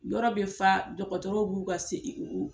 Yɔrɔ be fa dɔgɔtɔrɔw b'u ka se